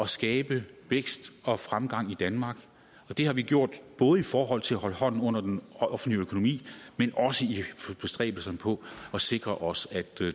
skabe vækst og fremgang i danmark det har vi gjort både i forhold til at holde hånden under den offentlige økonomi men også i bestræbelserne på at sikre os at